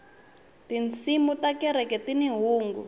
tinsimu ta kereke tini hungu